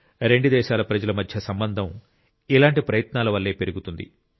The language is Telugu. రెండు దేశాల ప్రజల మధ్య సంబంధం ఇలాంటి ప్రయత్నాల వల్లే పెరుగుతుంది